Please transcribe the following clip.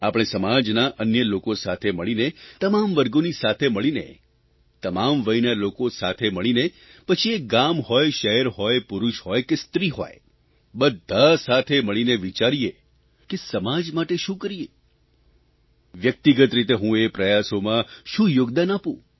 આપણે સમાજના અન્ય લોકો સાથે મળીને તમામ વર્ગોની સાથે મળીને તમામ વયના લોકો સાથે મળીને પછી એ ગામ હોય શહેર હોય પુરૂષ હોય કે સ્ત્રી હોય બધા સાથે મળીને વિચારીએ કે સમાજ માટે શું કરીએ વ્યક્તિગત રીતે હું એ પ્રયાસોમાં શું યોગદાન આપું